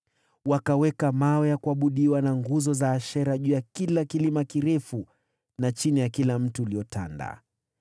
Wakaweka mawe ya kuabudiwa na nguzo za Ashera juu ya kila kilima kirefu na chini ya kila mti uliotanda.